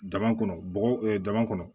Dama kɔnɔ bɔgɔ daba kɔnɔ